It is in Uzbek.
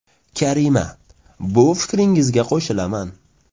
Karima :– Bu fikringizga qo‘shilaman.